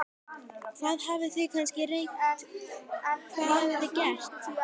Hvað, þið hafið kannski reynt, hvað hafið þið gert?